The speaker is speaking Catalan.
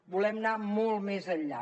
volem anar molt més enllà